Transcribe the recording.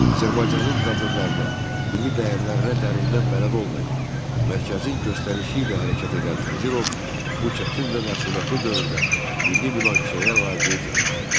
Azərbaycanın problemlərinə, milli dəyərlərinə dərindən bələd olmayan, mərkəzin göstərişi ilə hərəkət edən Vəzirov bu çətin və məsuliyyətli dövrdə milli münaqişəyə laqeyd yanaşdı.